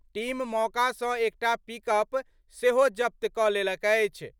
Team मौका सं एकटा पिकअप सेहो जब्त क' लेलक अछि।